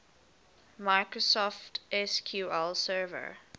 microsoft sql server